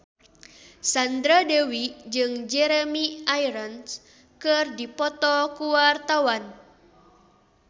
Sandra Dewi jeung Jeremy Irons keur dipoto ku wartawan